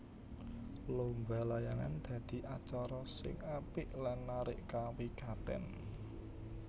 Lomba layangan dadi acara sing apik lan narik kawigatèn